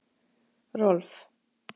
Rolf